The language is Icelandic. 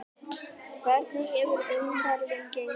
Hvernig hefur umferðin gengið?